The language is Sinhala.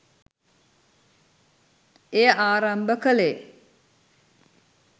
එය ආරම්භ කළේ